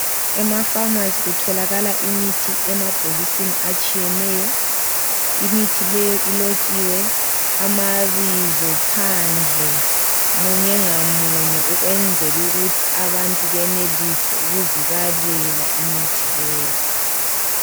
Emafamasi kutholakala imithi emabhokisini atshiyeneyo. Imithi leyo ilotshiwe amabizo phandle munye ngamunye ukwenzela ukuthi abantu benelise ukuzibalela imithi leyi.